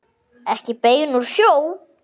Ekki bein úr sjó.